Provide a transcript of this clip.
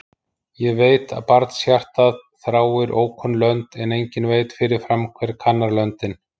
Ég veit að barnshjartað þráir ókunn lönd, en enginn veit fyrirfram hver kannar löndin.